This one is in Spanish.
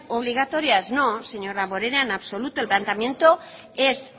obligatorias no señor damborenea en absoluto el planteamiento es